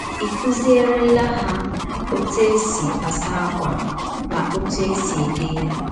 Ị̀ kụzierela ha ọtụ e si asa ákwà na ọtụ e si ede ya?